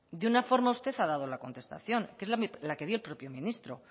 de una forma usted se ha dado la contestación que es la que dio el propio ministro